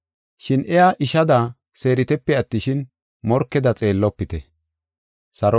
Shin iya ishada seeritepe attishin, morkeda xeellofite.